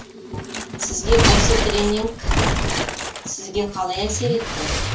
сізге осы тренинг сізге қалай әсер етті